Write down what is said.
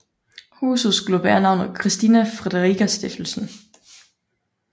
Huset skulle bære navnet Christina Friederica Stiftelse